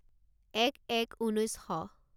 এক এক ঊনৈছ শ